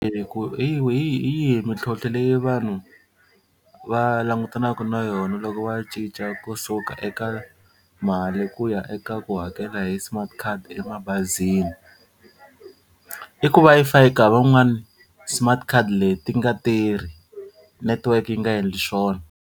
ku hi yihi mintlhlontlho leyi vanhu va langutanaka na yona loko va cinca kusuka eka mali ku ya eka ku hakela hi smart card emabazini? I ku va ka van'wani smart card leti ti nga tirhi network yi nga endli swona.